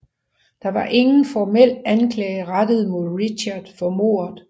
Der var ingen formel anklage rettet mod Richard for mordet